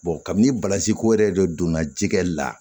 kabini basi ko yɛrɛ de donna jikɛ la